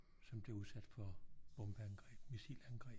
Som blev udsat for bombeangreb missilangreb